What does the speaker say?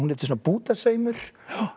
er svona bútasaumur